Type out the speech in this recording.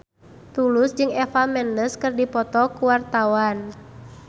Tulus jeung Eva Mendes keur dipoto ku wartawan